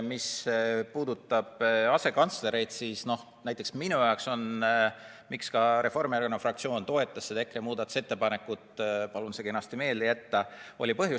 Mis puudutab asekantslereid, siis minu arvates põhjus, miks ka Reformierakonna fraktsioon toetas seda EKRE muudatusettepanekut – palun see kenasti meelde jätta!